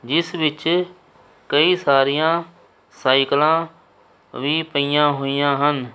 ਇਸ ਵਿਚ ਕਈ ਸਾਰੀਆਂ ਸਾਈਕਲਾਂ ਵੀ ਪਈਆਂ ਹੋਈਆਂ ਹਨ।